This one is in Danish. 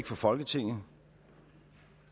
for folketinget